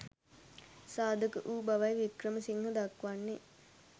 සාධක වූ බවයි වික්‍රමසිංහ දක්වන්නේ.